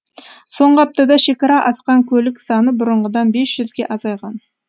соңғы аптада шекара асқан көлік саны бұрынғыдан бес жүзге азайған